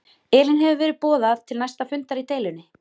Elín hefur verið boðað til næsta fundar í deilunni?